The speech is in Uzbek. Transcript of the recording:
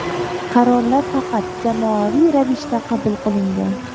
Qarorlar faqat jamoaviy ravishda qabul qilingan.